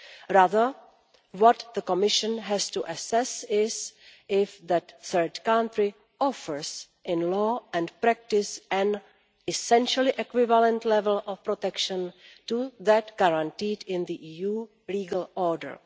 Rather, what the Commission has to assess is if that third country offers in law and practice an essentially equivalent level of protection to that guaranteed in the EU legal order.